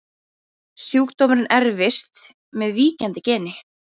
Sjúkdómurinn erfist með víkjandi geni.